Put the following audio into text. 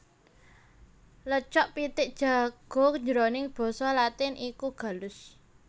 Lecoq pitik jago jroning basa Latin iku gallus